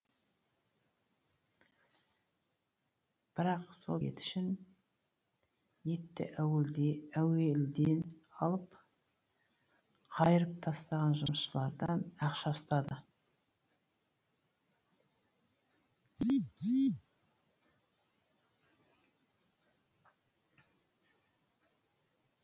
бірақ сол ет үшін етті әуелде алып қайырып тастаған жұмысшылардан да ақша ұстады